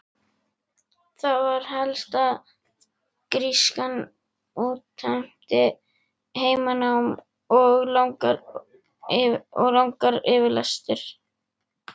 Það var helst að grískan útheimti heimanám og langar yfirsetur.